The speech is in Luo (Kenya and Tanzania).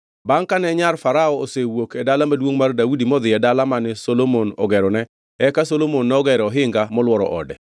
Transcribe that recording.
Bangʼ kane nyar Farao osewuok e Dala Maduongʼ mar Daudi modhi e dala mane Solomon ogerone, eka Solomon nogero ohinga molworo ode.